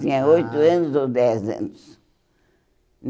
Ah Tinha oito anos ou dez anos.